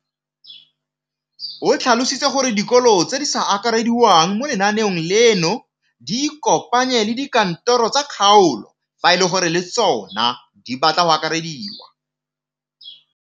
O tlhalositse gore dikolo tse di sa akarediwang mo lenaaneng leno di ikopanye le dikantoro tsa kgaolo fa e le gore le tsona di batla go akarediwa.